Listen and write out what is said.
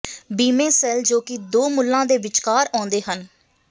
ਬੀਮੇ ਸੈੱਲ ਜੋ ਕਿ ਦੋ ਮੁੱਲਾਂ ਦੇ ਵਿਚਕਾਰ ਆਉਂਦੇ ਹਨ